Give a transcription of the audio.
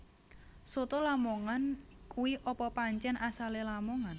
Soto lamongan kui apa pancen asale Lamongan